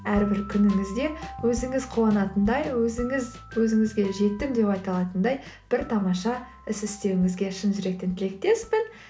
әрбір күніңізде өзіңіз қуанатындай өзіңіз өзіңізге жеттім деп айта алатындай бір тамаша іс істеуіңізге шын жүректен тілектеспін